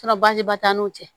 baasiba t'an n'u cɛ